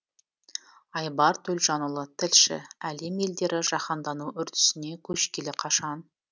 айбар төлжанұлы тілші әлем елдері жаһандану үрдісіне көшкелі қашан